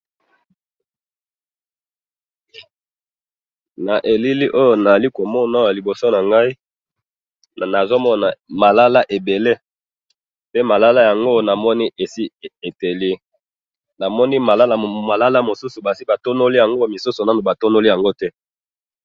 na eleli oyo nazali komona awa liboso na ngayi nazali komona malala ebele, pe malala oyo esi epeli, namoni malala mosusu esi batonoli yango mosusu esi ba tonoli yango te.